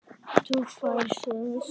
Þá færðu sömu söguna.